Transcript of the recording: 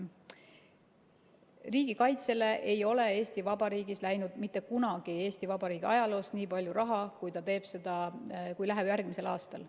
Riigikaitsele ei ole läinud Eesti Vabariigi ajaloos mitte kunagi nii palju raha, kui läheb järgmisel aastal.